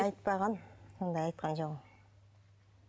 айтпаған ондай айтқан жоқ ол